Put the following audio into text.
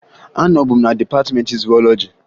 Anọbu m na dịpatịmeentị zuwọlọji